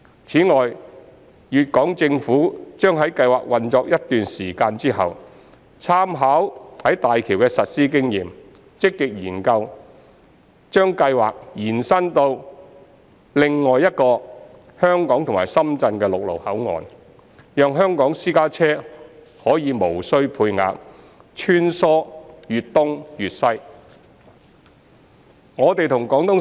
此外，粵港政府將在計劃運作一段時間後，參考在大橋的實施經驗，積極研究把計劃延伸至另一個香港和深圳的陸路口岸，讓香港私家車可以無需配額穿梭粵東粵西。